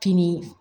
Fini